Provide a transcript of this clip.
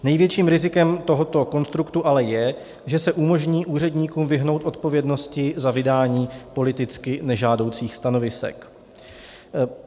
Největším rizikem tohoto konstruktu ale je, že se umožní úředníkům vyhnout odpovědnosti za vydání politicky nežádoucích stanovisek.